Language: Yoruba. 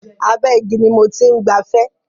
Abẹ́ igi ni mo ti ń gbafẹ́.